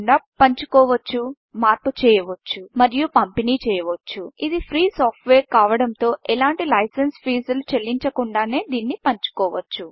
ఇది free software కావడాంతో ఎలాంటి లైసెన్స్ ఫీస్ చెలించకుండానే దీనిని పాచుకోవచ్చు ఇది ఫ్రీ సాఫ్ట్ వేర్ కావడంతో ఎలాంటి లైసెన్స్ ఫీజులు చెల్లించకుండానే దీన్ని పంచుకోవచ్చు